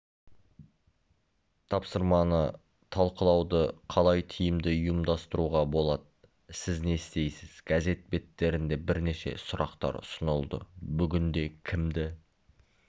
тапсырманы талқылауды қалай тиімді ұйымдастыруға болады сіз не істейсіз газет беттерінде бірнеше сұрақтар ұсынылды бүгінде кімді